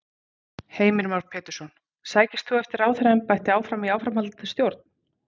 Heimir Már Pétursson: Sækist þú eftir ráðherraembætti áfram í áframhaldandi stjórn?